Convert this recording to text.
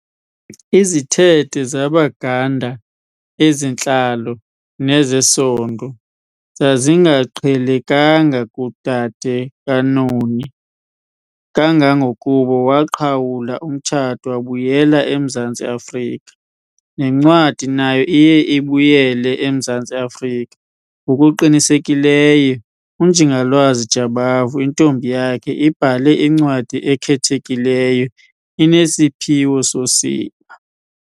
Izithethe zaBaganda - ezentlalo nezesondo - zazingaqhelekanga kudade kaNoni kangangokuba waqhawula umtshato wabuyela eMzantsi Afrika. Nencwadi nayo iye ibuyele eMzantsi Afrika - Ngokuqinisekileyo, UNjingalwazi Jabavu, intombi yakhe ibhale incwadi ekhethekileyo, inesiphiwo sosiba.